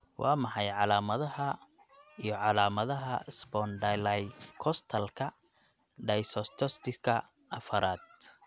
Waa maxay calaamadaha iyo calaamadaha Spondylocostalka dysostosiska afraad?